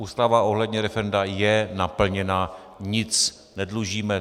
Ústava ohledně referenda je naplněna, nic nedlužíme.